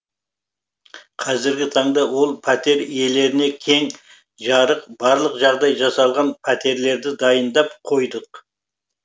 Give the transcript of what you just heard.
қазіргі таңда ол пәтер иелеріне кең жарық барлық жағдай жасалған пәтерлерді дайындап қойдық